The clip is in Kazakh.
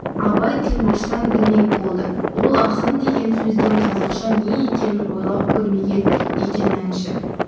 абай тілмаштан білмек болды ол ақын деген сөздің қазақша не екенін ойлап көрмеген екен әнші